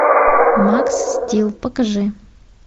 макс стил покажи